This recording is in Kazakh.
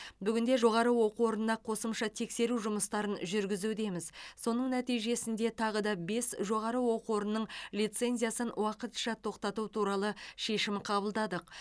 бүгінде жоғары оқу орнына қосымша тексеру жұмыстарын жүргізудеміз соның нәтижесінде тағы бес жоғары оқу орнының лицензиясын уақытша тоқтату туралы шешім қабылдадық